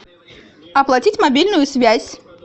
оплатить мобильную связь